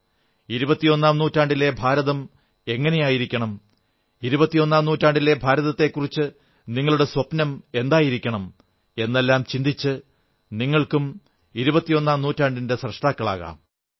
ഇരുപത്തിയൊന്നാം നൂറ്റാണ്ടിലെ ഭാരതം എങ്ങനെയായിരിക്കണം ഇരുപത്തിയൊന്നാം നൂറ്റാണ്ടിലെ ഭാരതത്തെക്കുറിച്ച് നിങ്ങളുടെ സ്വപ്നം എന്തായിരിക്കണം എന്നെല്ലാം ചിന്തിച്ച് നിങ്ങൾക്കും ഇരുപത്തിയൊന്നാം നൂറ്റാണ്ടിന്റെ സ്രഷ്ടാക്കളാകാം